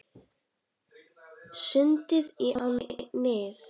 Sundið í ánni Nið